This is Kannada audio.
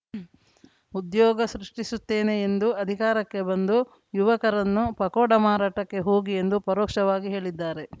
ಉದ್ಯೋಗ ಸೃಷ್ಟಿಸುತ್ತೇನೆ ಎಂದು ಅಧಿಕಾರಕ್ಕೆ ಬಂದು ಯುವಕರನ್ನು ಪಕೋಡ ಮಾರಾಟಕ್ಕೆ ಹೋಗಿ ಎಂದು ಪರೋಕ್ಷವಾಗಿ ಹೇಳಿದ್ದಾರೆ